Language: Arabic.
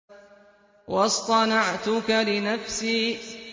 وَاصْطَنَعْتُكَ لِنَفْسِي